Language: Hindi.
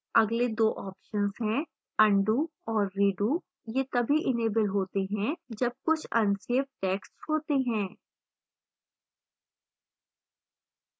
अगले दो options हैं undo और redo ये the इनेबल होते हैं जब कुछ अनसेव टैक्स्ट होते हैं